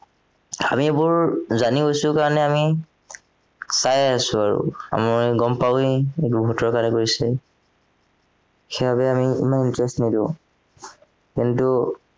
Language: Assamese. আমিবোৰ জানি গৈছো কাৰণে আমি চাই আছো আৰু আমি গম পাওৱেই এইবোৰ ভোটৰ কাৰণে কৰিছে সেইবাবে আমি ইমান interest নিদিও কিন্তু